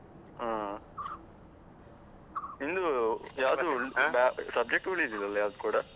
ಹ್ಮ್. ನಿಂದು ಯಾವುದು subject ಉಳಿಲಿಲ್ಲ ಅಲ್ಲ ಯಾವುದು ಕೂಡಾ?